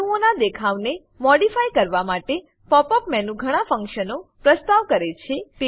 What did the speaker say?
અણુઓનાં દેખાવને મોડીફાય કરવા માટે pop યુપી મેનુ ઘણા ફંક્શનો પ્રસ્તાવ કરે છે